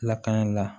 Lakani la